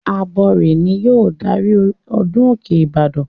Abọrẹ̀ ni yóò darí ọdún òkè ìbàdàn.